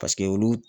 Paseke olu